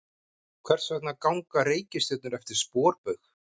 Hvers vegna ganga reikistjörnur eftir sporbaug?